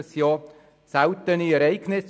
Es sind seltene Ereignisse.